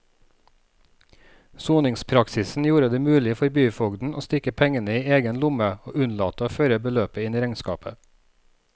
Soningspraksisen gjorde det mulig for byfogden å stikke pengene i egen lomme og unnlate å føre beløpet inn i regnskapet.